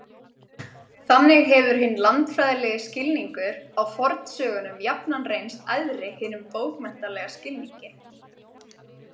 Þannig hefur hinn landfræðilegi skilningur á fornsögunum jafnan reynst æðri hinum bókmenntalega skilningi.